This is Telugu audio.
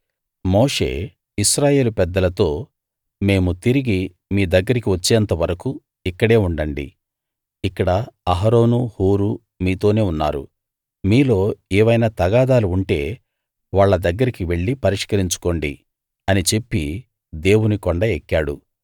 మోషే ఇశ్రాయేలు పెద్దలతో మేము తిరిగి మీ దగ్గరికి వచ్చేంత వరకూ ఇక్కడే ఉండండి ఇక్కడ అహరోను హూరు మీతోనే ఉన్నారు మీలో ఏవైనా తగాదాలు ఉంటే వాళ్ళ దగ్గరికి వెళ్లి పరిష్కరించుకోండి అని చెప్పి దేవుని కొండ ఎక్కాడు